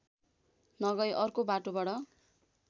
नगई अर्को बाटोबाट